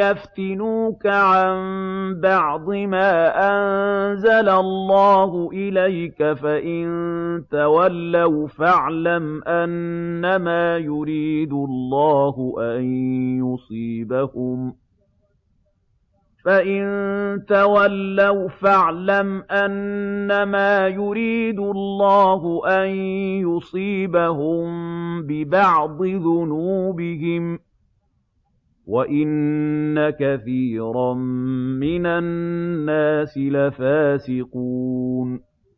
يَفْتِنُوكَ عَن بَعْضِ مَا أَنزَلَ اللَّهُ إِلَيْكَ ۖ فَإِن تَوَلَّوْا فَاعْلَمْ أَنَّمَا يُرِيدُ اللَّهُ أَن يُصِيبَهُم بِبَعْضِ ذُنُوبِهِمْ ۗ وَإِنَّ كَثِيرًا مِّنَ النَّاسِ لَفَاسِقُونَ